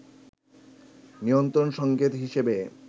নিয়ন্ত্রন সংকেত হিসেবে